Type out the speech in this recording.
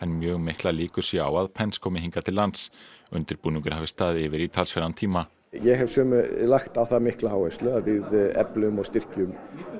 mjög miklar líkur séu á að komi hingað til lands undirbúningur hafi staðið yfir í talsverðan tíma ég hef lagt á það mikla áherslu að við eflum og styrkjum